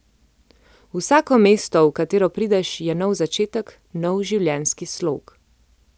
Vsako mesto, v katero prideš, je nov začetek, nov življenjski slog.